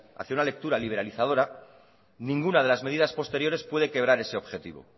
hacia una lectura liberalizadora ninguna de las medidas posteriores puede quebrar ese objetivo